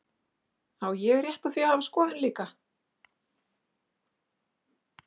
Á ég rétt á því að hafa skoðun líka?